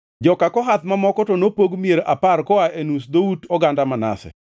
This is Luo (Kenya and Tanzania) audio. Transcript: Joka Kohath mamoko to nopog mier apar koa e nus dhout oganda Manase.